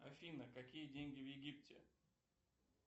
афина какие деньги в египте